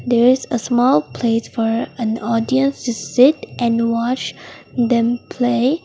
there is a small place for an audience to sit and watch them play.